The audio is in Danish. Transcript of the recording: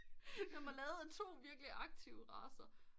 Den var lavet af to virkelige aktive racer